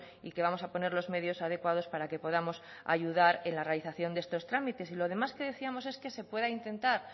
y que vamos a poner los medios adecuados para que podamos ayudar en la realización de estos trámites y lo demás que decíamos es que se pueda intentar